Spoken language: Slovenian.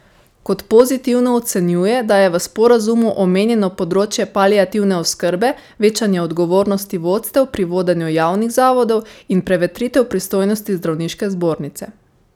Kot pozitivno ocenjuje, da je v sporazumu omenjeno področje paliativne oskrbe, večanje odgovornosti vodstev pri vodenju javnih zavodov in prevetritev pristojnosti zdravniške zbornice.